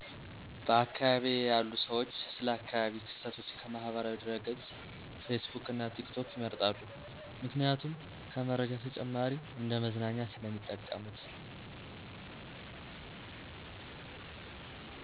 በአካባቢየ ያሉ ሰዎች ስለ አካባቢ ክስተቶች ከማህበራዊ ድረገጽ ፌስቡክ እና ቲክቶክ ይመርጣሉ ምክንያቱም ከመረጃ ተጨማሪ እንደ መዝናኛ ስለሚጠቀሙት።